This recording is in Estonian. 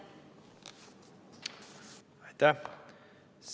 Aitäh!